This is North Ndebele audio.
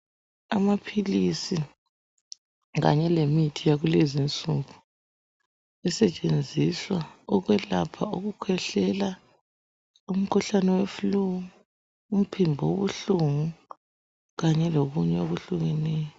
Amaphilisi kanye lemithi yakulezi insuku esetshenziswa ukwelapha ukukhwehlela , umkhuhlane we flue , umphimbo obuhlungu kanye lokunye okuhlukeyo.